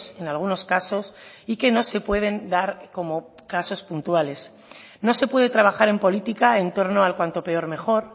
en algunos casos y que no se pueden dar como casos puntuales no se puede trabajar en política en torno al cuanto peor mejor